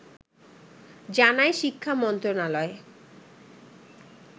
জানায় শিক্ষা মন্ত্রণালয়